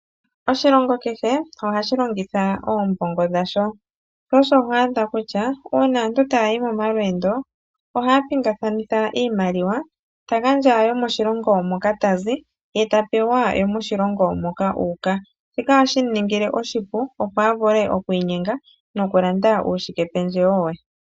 Oshilongo kehe ohashi longitha oombongo dhasho. Na uuna aantu tayayi momalweendo, ohaya pingathanitha iimaliwa, ta gandja yomoshilongo moka tazi, eta pewa yomoshilongo moka tayi. Shika ohashi mu ningile oshipu, opo avule okwiinyenga nokulanda uushikependjewo we.